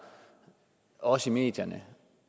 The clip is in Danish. også i medierne